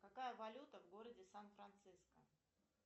какая валюта в городе сан франциско